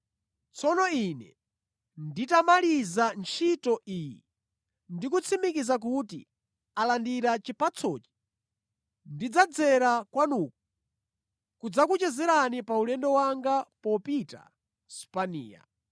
Tsono ine nditamaliza ntchito iyi ndi kutsimikiza kuti alandira chipatsochi, ndidzadzera kwanuko kudzakuchezerani pa ulendo wanga popita ku Spaniya.